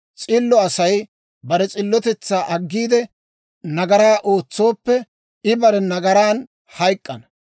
S'illo Asay bare s'illotetsaa aggiide, nagaraa ootsooppe, I bare nagaran hayk'k'ana.